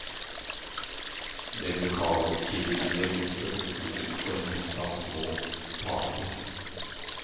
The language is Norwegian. Det lokalkirkelige godset bestod for det meste av små parter.